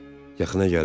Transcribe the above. yaxına gəldi, Dili.